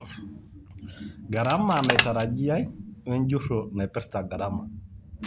Garama naitarajiyai, enjurro naipirta garama.